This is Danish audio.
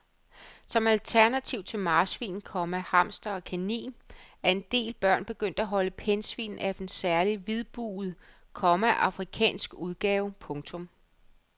Som alternativ til marsvin, komma hamster og kanin er en del børn begyndt at holde pindsvin af en særlig hvidbuget, komma afrikansk udgave. punktum